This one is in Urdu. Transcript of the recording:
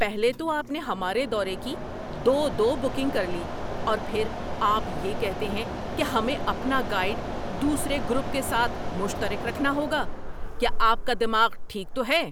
پہلے تو آپ نے ہمارے دورے کی دو دو بکنگ کر لی اور پھر آپ یہ کہتے ہیں کہ ہمیں اپنا گائیڈ دوسرے گروپ کے ساتھ مشترک رکھنا ہوگا۔ کیا آپ کا دماغ ٹھیک تو ہے؟